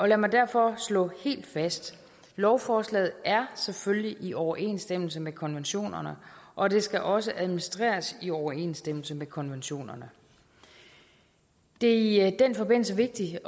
lad mig derfor slå helt fast lovforslaget er selvfølgelig i overensstemmelse med konventionerne og det skal også administreres i overensstemmelse med konventionerne det er i den forbindelse vigtigt